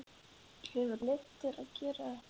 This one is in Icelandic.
Hefurðu leyfi til að gera þetta?